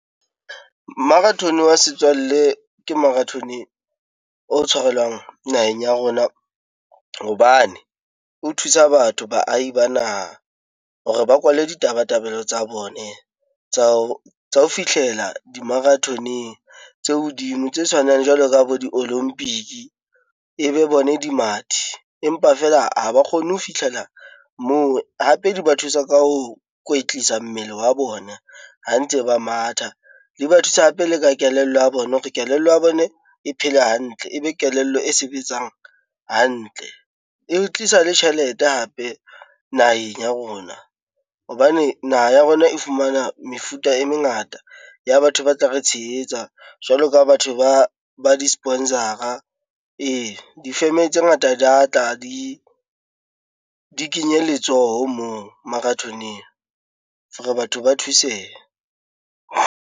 Marathone wa setswalle ke marathone o tshwarelwang naheng ya rona hobane o thusa batho, baahi ba naha hore ba kwale ditabatabelo tsa bona tsa ho fihlela di marathoneng tse hodimo. Tse tshwanang jwalo ka bo di-olympic-i, e be bone dimathi empa feela ha ba kgonne ho fihlela moo. Hape di ba thusa ka ho kwetlisa mmele wa bona ha ntse ba matha. E ba thusa hape le ka kelello ya bona hore kelello ya bone e phele hantle, ebe kelello e sebetsang hantle. E tlisa le tjhelete hape naheng ya rona hobane naha ya rona e fumana mefuta e mengata ya batho ba tla re tshehetsa, jwalo ka batho ba di-sponsor-ara. Ee, di-firm-e tse ngata di a tla di kenye letsoho moo marathoneng for-e batho ba thusehe.